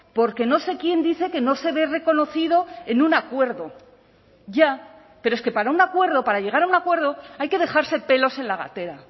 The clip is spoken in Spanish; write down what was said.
porque no sé quién dice que no se ve reconocido en un acuerdo ya pero es que para un acuerdo para llegar a un acuerdo hay que dejarse pelos en la gatera